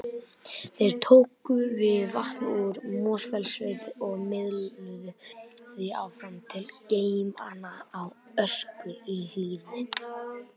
Þeir tóku við vatni úr Mosfellssveit og miðluðu því áfram til geymanna á Öskjuhlíð.